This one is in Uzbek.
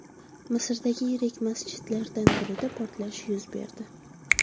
Misrdagi yirik masjidlardan birida portlash yuz berdi.